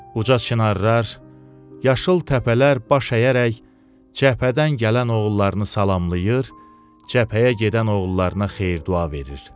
Uca çinarlar, yaşıl təpələr baş əyərək cəbhədən gələn oğullarını salamlayır, cəbhəyə gedən oğullarına xeyir-dua verir.